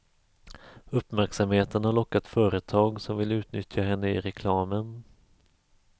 Uppmärksamheten har lockat företag som vill utnyttja henne i reklamen.